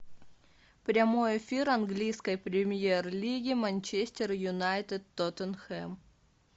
прямой эфир английской премьер лиги манчестер юнайтед тоттенхэм